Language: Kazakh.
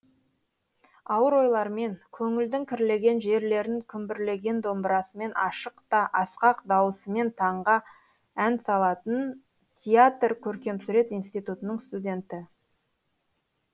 ауыр ойлармен көңілдің кірлеген жерлерін күмбірлеген домбырасымен ашық та асқақ дауысымен таңға ән салатын театр көркемсурет институтының студенті